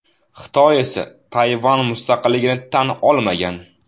Xitoy esa Tayvan mustaqilligini tan olmagan.